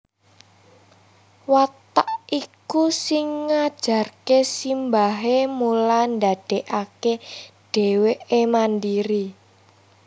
Watak iku sing ngajarké simbahé mula ndadékaké dhéwéké mandiri